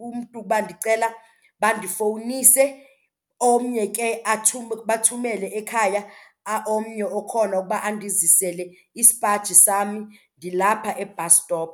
umntu uba ndicela bandifowunise, omnye ke bathumele ekhaya omnye okhona ukuba andizisele isipaji sam ndilapha e-bus stop.